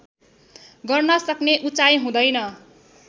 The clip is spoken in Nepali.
गर्नसक्ने उचाइ हुँदैन